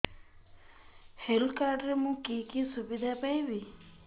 health card ରେ ମୁଁ କି କି ସୁବିଧା ପାଇବି